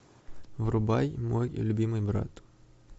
врубай мой любимый брат